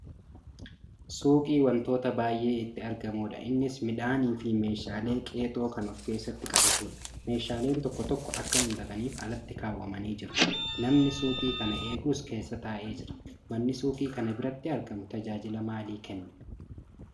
Suuqii wantoota baay'ee itti argamudha. Innis midhaaniifi meeshaalee qexoo kan of keessatti qabatudha. Meeshaaleen tokko tokko akka mul'ataniif ala kaawwamanii jiru. Namni suuqii kana eegus keessa taa'ee jira. Manni suuqii kana biratti argamu tajaajila maalii kenna?